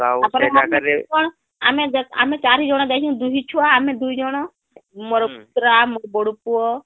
ଆମେ ଦେଖ ଆମେ ଚାରି ଜଣ ଯାଇଛୁ , ଦୁହି ଛୁଆ ଆମେ ଦୁଇ ଜଣ ମୋର ପୁତୁରା ମୋର ବଡ ପୁଅ